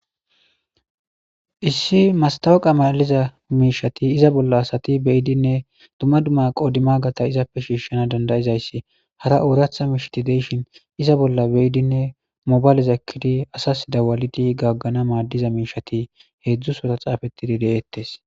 Issi masatawoka malatiza mishati iza bolla assati beyidine duma duma qomoti izappe shishanasi dandayidayisi hara oratha mishati deyishini iza bolla beyidine mobaleza ekidi assasi dawalidi gagana mishati hedzu sora detesi